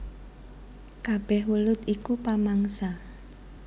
Kabèh welut iku pamangsa